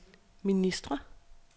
ministre